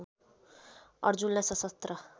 अर्जुनलाई सशस्त्र